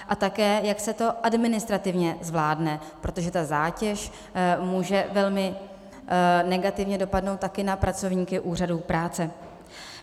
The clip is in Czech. A také, jak se to administrativně zvládne, protože ta zátěž může velmi negativně dopadnout taky na pracovníky úřadů práce.